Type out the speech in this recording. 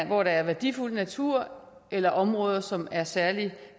hvor der er værdifuld natur eller områder som er særlig